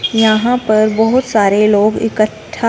यहां पर बहुत सारे लोग इकट्ठा--